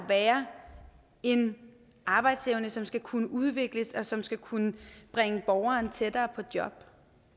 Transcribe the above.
være en arbejdsevne som skal kunne udvikles og som skal kunne bringe borgeren tættere på job